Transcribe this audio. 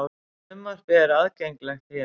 Frumvarpið er aðgengilegt hér